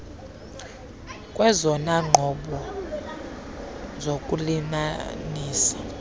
kwezona nqobo zokulinanisa